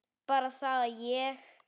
Bara það að ég.